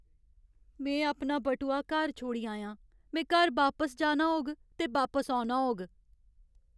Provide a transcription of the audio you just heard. में अपना बटुआ घर छोड़ी आया आं। में घर बापस जाना होग ते बापस औना होग।